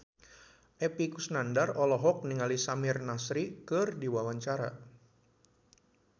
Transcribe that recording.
Epy Kusnandar olohok ningali Samir Nasri keur diwawancara